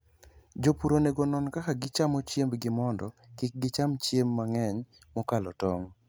Jopur onego onon kaka gichamo chiembgi mondo kik gicham chiemb mang'eny mokalo tong'.